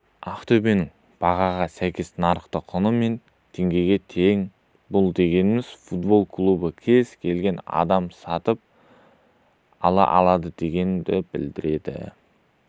ақтөбенің бағаға сәйкес нарықтық құны мың теңгеге тең бұл дегеніміз футбол клубын кез келген адам сатып ала алады дегенді білдіреді